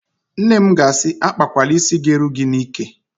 Nne m ga-asị, "akpakwala ísí ga-eru gị n'íkè"!